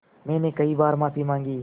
मैंने कई बार माफ़ी माँगी